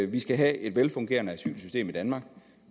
vi skal have et velfungerende asylsystem i danmark